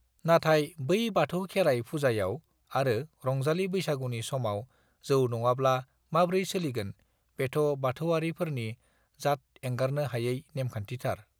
नाथाय बै बाथौ खेराय फुजायाव आरो रंजालि बैसागुनि समाव जौ नङाब्ला माब्रै सोलिगोन बेथ बाथौआरि फोरनि जाथ एंगारनो हायै नेमखान्थि थार